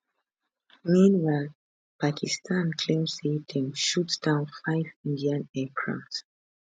meanwhile pakistan claim say dem shoot down five indian aircraft